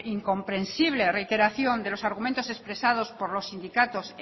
incomprensible reiteración de los argumentos expresados por los sindicatos